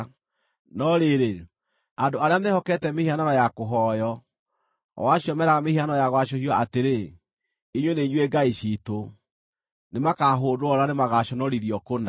No rĩrĩ, andũ arĩa mehokete mĩhianano ya kũhooywo, o acio meraga mĩhianano ya gwacũhio atĩrĩ, ‘Inyuĩ nĩ inyuĩ ngai ciitũ,’ nĩmakahũndũrwo na nĩmagaconorithio kũna.